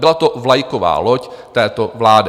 Byla to vlajková loď této vlády.